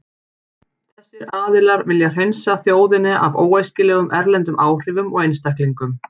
Þessir aðilar vilja hreinsa þjóðina af óæskilegum erlendum áhrifum og einstaklingum.